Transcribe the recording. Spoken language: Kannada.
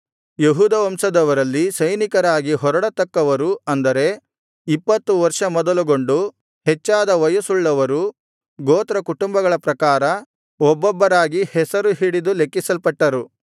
ಯೆಹೂದ ವಂಶದವರಲ್ಲಿ ಸೈನಿಕರಾಗಿ ಹೊರಡತಕ್ಕವರು ಅಂದರೆ ಇಪ್ಪತ್ತು ವರ್ಷ ಮೊದಲುಗೊಂಡು ಹೆಚ್ಚಾದ ವಯಸ್ಸುಳ್ಳವರು ಗೋತ್ರಕುಟುಂಬಗಳ ಪ್ರಕಾರ ಒಬ್ಬೊಬ್ಬರಾಗಿ ಹೆಸರು ಹಿಡಿದು ಲೆಕ್ಕಿಸಲ್ಪಟ್ಟರು